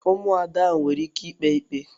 Ụmụada ha nwere ike ikpe ikpe?